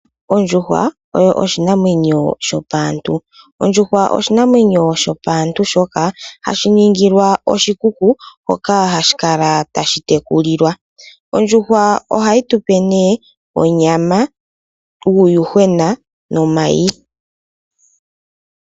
Ondjuhwa oyo oshinanwenyo shopaantu oshoka ohadhi ningilwa oshikuku hoka hashi kala tayi tekulilwa. Ohayi tupe onyama, uuyuhwena nomayi.